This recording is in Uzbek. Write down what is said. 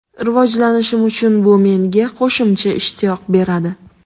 Rivojlanishim uchun bu menga qo‘shimcha ishtiyoq beradi.